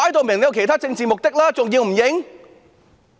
明顯有其他政治目的，還不承認嗎？